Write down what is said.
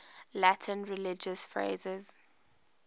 latin religious phrases